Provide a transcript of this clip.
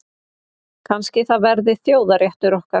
Kannski það verði þjóðarréttur okkar.